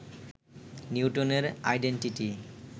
নিউটনের আইডেনটিটি